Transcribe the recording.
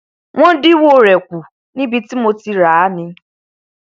wọn dínwó rẹ kù níbi tí mo ti ràá ni